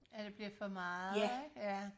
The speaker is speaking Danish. At det bliver for meget ikke? Ja